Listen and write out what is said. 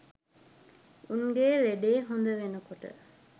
උන්ගෙ ලෙඩේ හොද වෙනකොට